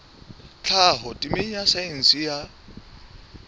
tlhaho temeng ya saense ya